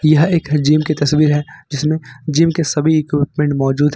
यह एक जिम की तस्वीर है जिसमें जिम के सभी इक्विपमेंट मौजूद है।